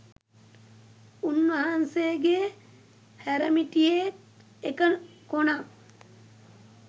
උන්වහන්සේගේ හැරමිටියේ එක කොනක්